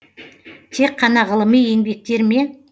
тек қана ғылыми еңбектер ме